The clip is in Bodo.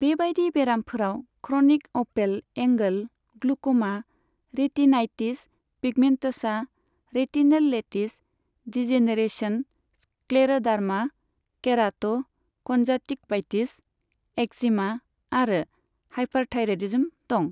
बेबायदि बेरामफोराव chronic open angle glaucoma, retinitis pigmentosa, retinal lattice degeneration, scleroderma, keratoconjunctivitis, eczema आरो हाइपारथायरायडिज्म दं।